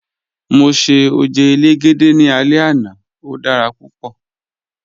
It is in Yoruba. Mọ ṣẹ̀ ojẹ́ èlégédẹ̀ ní àlẹ̀ ẹna, ó dára púpọ̀